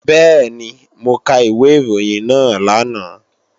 Bẹ́ẹ̀ni, mo ka ìwé ìròyìn náà lánàá